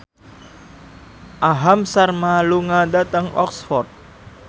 Aham Sharma lunga dhateng Oxford